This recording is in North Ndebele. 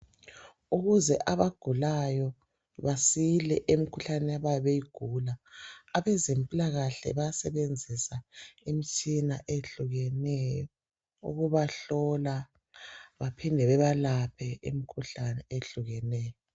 Ukuze abagulayo basile emkhuhlaneni abayabe beyigula, abezempilakahle bayasebenzisa imtshina ehlukeneyo ukubahlola baphinde babalaphe imkhuhlane eyehlukeneyo.